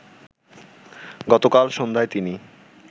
গতকাল সন্ধ্যায় তিনি